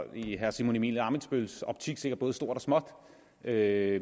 i herre simon emil ammitzbølls optik sikkert dækker både stort og småt det er